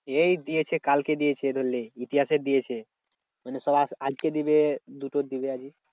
এই দিয়েছে কালকে দিয়েছে ইতিহাসের দিয়েছে। মানে সব আজকে দিবে দুটোর দিবে আজকে।